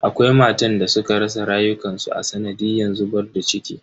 Akwai matan da suka rasa rayukansu a sanadiyan zubar da ciki.